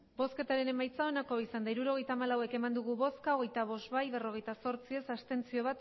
hirurogeita hamalau eman dugu bozka hogeita bost bai berrogeita zortzi ez bat abstentzio